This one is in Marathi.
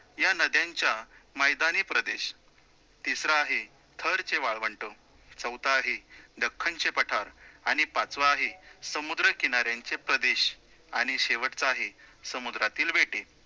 या नद्यांच्या मैदानी प्रदेश, तिसरा आहे थरचे वाळवंट, चौथं आहे दख्खनचे पठार आणि पाचवं आहे समुद्रकिनाऱ्यांचे प्रदेश आणि शेवटचं आहे समुद्रातील बेटे